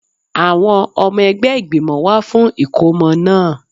Àwọn ọmọ ẹgbẹ́ ìgbìmọ̀ wá fún ìkómọ náà